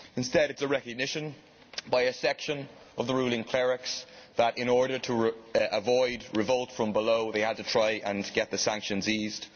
Instead it is a recognition by a section of the ruling clerics that in order to avoid revolt from below they had to try and get the sanctions eased.